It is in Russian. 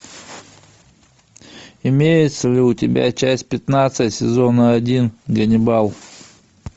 имеется ли у тебя часть пятнадцать сезона один ганнибал